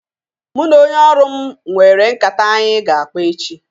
Mụ na onye ọrụ m nwere nkata anyị ga-akpa echi